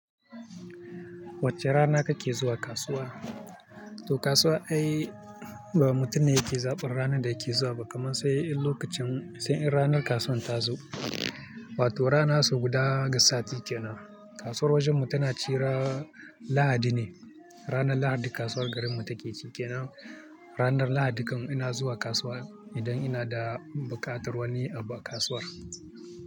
Wacce rana kake zuwa kasuwa? To kasuwa ai ba mutum ne yake zaɓar ranar da yake zuwa ba kamar sai in lokacin sai in ranar kasuwan ta zo. Wato rana so guda ga sati ke nan. Kasuwar wajen mu tana ci ran Lahadi ne. Ranar Lahadi kasuwar garin mu take cike na. Ranar Lahadi kan ina zuwa kasuwa idan ina da bukatar wani abu a kasuwar.